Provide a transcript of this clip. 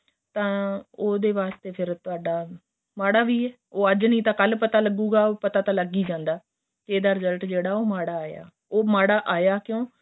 ਤਾਂ ਉਹਦੇ ਵਾਸਤੇ ਫ਼ੇਰ ਤੁਹਾਡਾ ਮਾੜਾ ਵੀ ਏ ਅੱਜ ਨਹੀਂ ਤਾਂ ਕੱਲ ਪਤਾ ਲੱਗੂਗਾ ਪਤਾ ਤਾਂ ਲੱਗ ਹੀ ਜਾਂਦਾ ਕੇ ਇਹਦਾ result ਜਿਹੜਾ ਉਹ ਮਾੜਾ ਆਇਆਂ ਉਹ ਮਾੜਾ ਆਇਆਂ ਕਿਉ